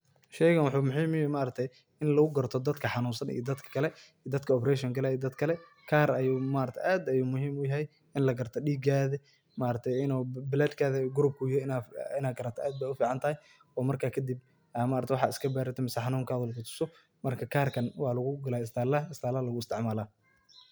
Sheeygan waxu muhim u yahay, ini maargtahay ini lagu kartoh dadka xanunsan iyo dadkali dadaka abreshin kalayo iyo dadkali kaar ayu maargtay aad ayu muhim u yahay ini lakartoh deegathi maargtay ini blood group ka yuyahay inu garatoh aad Aya u ficantahay oo marka kadib AA maaragtay waxasi iska baartoh mise xanunka xubsatoh, marka Gaarika wa lagu haystah isbitaatha lagu isticmalah.